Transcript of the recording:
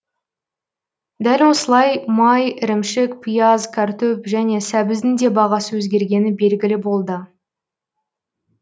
дәл осылай май ірімшік пияз картоп және сәбіздің де бағасы өзгергені белгілі болды